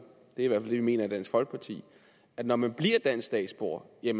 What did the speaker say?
det er det vi mener i dansk folkeparti at når man bliver dansk statsborger er